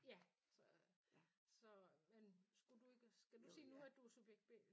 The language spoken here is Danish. Ja så så men øh skulle skal du sige nu at du er subjekt B?